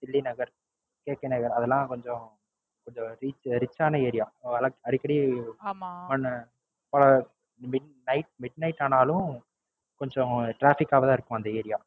தில்லி நகர் K K நகர் அதெல்லாம் கொஞ்சம் கொஞ்சம் Rich ஆன Area அடிக்கடி உம் இன்னைக்க Night midnight ஆனாலும் கொஞ்சம் Traffice ஓட தான் இருக்கும் அந்த Area